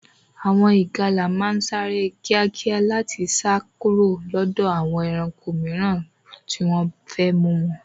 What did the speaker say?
Àwọn ìgalà máa ń sáré kíákíá láti sá kúrò lọ́dọ̀ àwọn ẹranko mìíràn tí wọ́n fẹ́ mú wọn.